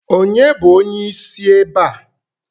Ònye bụ onyeisi ebe a?